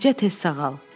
Bircə tez sağal.